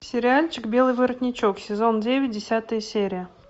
сериальчик белый воротничок сезон девять десятая серия